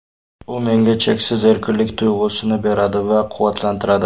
U menga cheksiz erkinlik tuyg‘usini beradi va quvvatlantiradi.